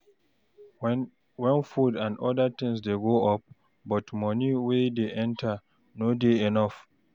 When food and oda things dey go up but money wey dey enter no dey enough